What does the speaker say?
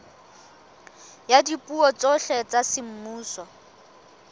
ya dipuo tsohle tsa semmuso